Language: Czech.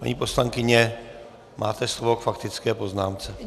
Paní poslankyně, máte slovo k faktické poznámce.